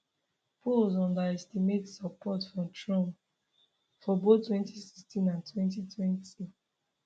polls underestimate support for trump for both 2016 and 2020